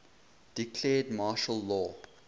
declared martial law